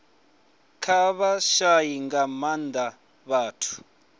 kha vhashai nga maanda vhathu